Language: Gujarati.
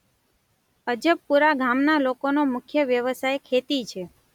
અજબપુરા ગામના લોકોનો મુખ્ય વ્યવસાય ખેતી છે.